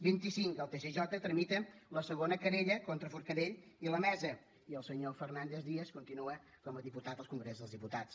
vint i cinc el tsj tramita la segona querella contra forcadell i la mesa i el senyor fernández díaz continua com a diputat al congrés dels diputats